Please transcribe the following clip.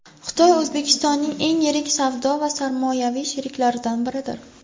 Xitoy O‘zbekistonning eng yirik savdo va sarmoyaviy sheriklaridan biridir.